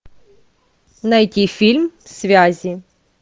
найти фильм связи